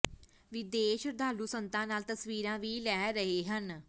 ਵਿਦੇਸ਼ ਸ਼ਰਧਾਲੂ ਸੰਤਾਂ ਨਾਲ ਤਸਵੀਰਾਂ ਵੀ ਲੈ ਰਹੇ ਹਨ